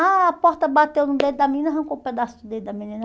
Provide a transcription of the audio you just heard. A porta bateu no dedo da menina, arrancou o pedaço do dedo da menina.